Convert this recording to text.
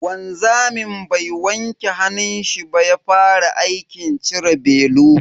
Wanzamin bai wanke hannunshi ba ya fara aikin cire belu.